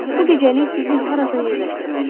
Bu gecəlik sizi harasa yerləşdirməliyik.